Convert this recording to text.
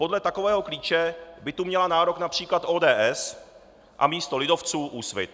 Podle takového klíče by tu měla nárok například ODS a místo lidovců Úsvit.